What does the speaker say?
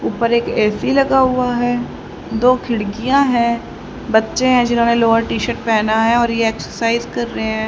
ऊपर एक ए_सी लगा हुआ है दो खिड़कियां हैं बच्चे हैं जिन्होंने लोअर टी शर्ट पहना है और यह एक्सरसाइज कर रहे हैं।